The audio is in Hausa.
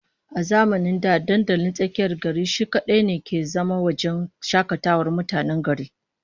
A zamanin da dandalin tsakiyar gari shi kadai ne ke zama wajen shakatawar mutanen gari